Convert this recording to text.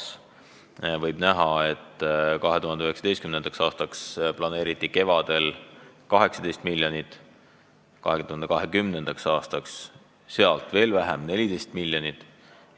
Selles eelarvestrateegias on näha, et 2019. aastaks planeeriti 18 miljonit, 2020. aastaks veel vähem, 14 miljonit,